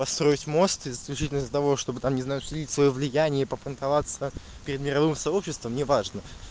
построить мост исключительно для того чтобы там не знаю установить своё влияние и по понтоваться перед мировым сообществом неважно